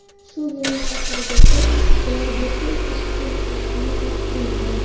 Shu yilning oxirigacha ular bepul tashkil qilinishini ham unutmang.